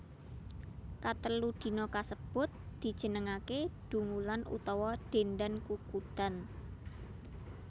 Katelu dina kasebut dijenengaké Dungulan utawa Dendan Kukudan